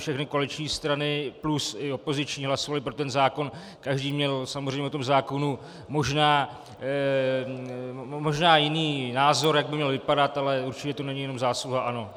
Všechny koaliční strany plus i opoziční hlasovaly pro ten zákon, každý měl samozřejmě o tom zákonu možná jiný názor, jak by měl vypadat, ale určitě to není jenom zásluha ANO.